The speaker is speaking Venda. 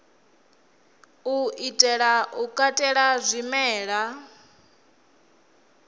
u itela u katela zwimela